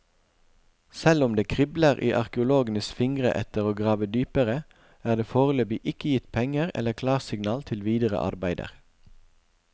Selv om det kribler i arkeologenes fingre etter å grave dypere, er det foreløpig ikke gitt penger eller klarsignal til videre arbeider.